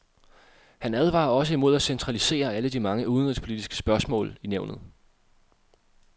Han advarer også imod at centralisere alle de mange udenrigspolitiske spørgsmål i nævnet.